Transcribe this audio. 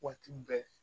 Waati bɛɛ